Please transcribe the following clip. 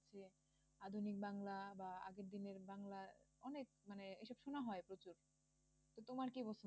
আধুনিক বাংলা বা আগের দিনের বাংলা অনেক মানে এসব শুনা হয় প্রচুর তো তোমার কি পছন্দ?